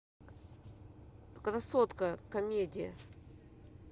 красотка комедия